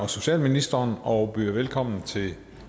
og socialministeren og byder velkommen til